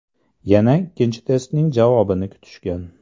Yana ikkinchi testning javobini kutishgan.